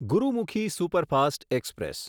Gurumukhi superfast express